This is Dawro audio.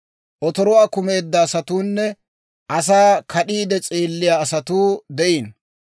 Otoruwaa kumeedda asatuunne asaa kad'iide s'eelliyaa asatuu de'iino.